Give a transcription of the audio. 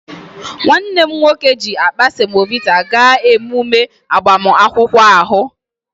Nwanne m nwoke ji akpa semovita gaa emume agbamakwụkwọ ahụ